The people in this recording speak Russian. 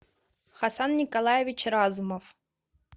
хасан николаевич разумов